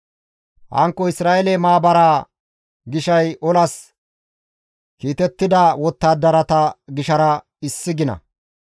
Hankko Isra7eele Maabaraa gishay olas kiitettida wottadarata gishara issi gina.